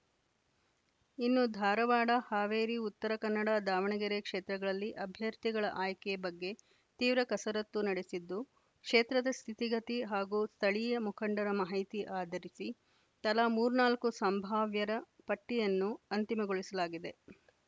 ಇನ್ನು ಧಾರವಾಡ ಹಾವೇರಿ ಉತ್ತರ ಕನ್ನಡ ದಾವಣಗೆರೆ ಕ್ಷೇತ್ರಗಳಲ್ಲಿ ಅಭ್ಯರ್ಥಿಗಳ ಆಯ್ಕೆ ಬಗ್ಗೆ ತೀವ್ರ ಕಸರತ್ತು ನಡೆಸಿದ್ದು ಕ್ಷೇತ್ರದ ಸ್ಥಿತಿಗತಿ ಹಾಗೂ ಸ್ಥಳೀಯ ಮುಖಂಡರ ಮಾಹಿತಿ ಆಧರಿಸಿ ತಲಾ ಮೂರ್ನಾಲ್ಕು ಸಂಭಾವ್ಯರ ಪಟ್ಟಿಯನ್ನು ಅಂತಿಮಗೊಳಿಸಲಾಗಿದೆ